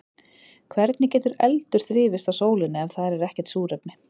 Hvernig getur eldur þrifist á sólinni ef það er ekkert súrefni þar?